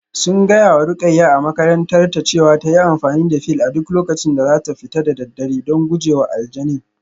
Sun gaya wa Ruqayyah a makarantarta cewa ta yi amfani da fil a duk lokacin da za ta fita da daddare don guje wa aljanin